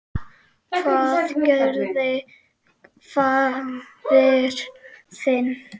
Hvað gerði faðir þinn?